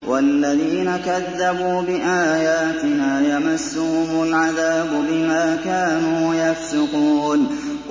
وَالَّذِينَ كَذَّبُوا بِآيَاتِنَا يَمَسُّهُمُ الْعَذَابُ بِمَا كَانُوا يَفْسُقُونَ